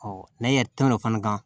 n'a yɛrɛ tɛmɛna o fana kan